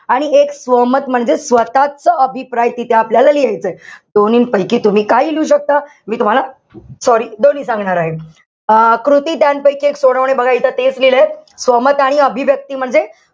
आणि एक स्वमत म्हणजे स्वतःचा अभिप्राय तिथे आपल्याला लिहायचाय. दोन्हींपैकी तुम्ही काहीही लिहू शकता. मी तुम्हाला sorry दोन्ही सांगणार आहे. अं कृती ध्यान पैकी एक सोडवणे बघा इथे तेच लिहिलंय. स्वमत आणि अभिव्यक्ती म्हणजे,